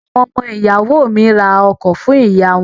Àwọn ọmọ ìyàwó mi ra ọkọ̀ fún ìyá wọn.